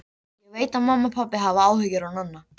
Ég veit að mamma og pabbi hafa áhyggjur af Nonna.